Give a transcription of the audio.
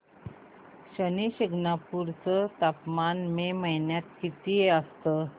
शनी शिंगणापूर चं तापमान मे महिन्यात किती असतं